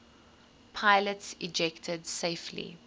pilots ejected safely